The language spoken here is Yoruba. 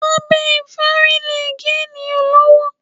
Abẹ ìfárí lè gé ènìyàn lọ́wọ́.